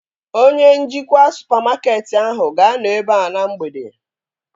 Onye njikwa supamakeetị ahụ ga-anọ ebea na mgbede